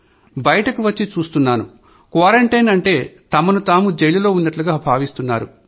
బయటికివచ్చి చూస్తున్నాను క్వారంటైన్ అంటే తమకు తాము జైలులో ఉన్నట్లుగా భావిస్తున్నారు